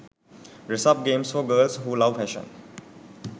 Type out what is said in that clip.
dress up games for girls who love fashion